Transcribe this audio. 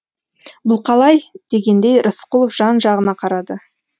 бұл қалай дегендей рысқұлов жан жағына қарады